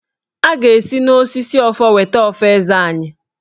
A ga-esi n'osisi ọfọ weta ọfọ Eze anyị.